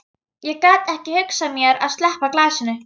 Ég gat ekki hugsað mér að sleppa glasinu.